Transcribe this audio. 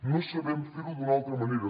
no sabem fer ho d’una altra manera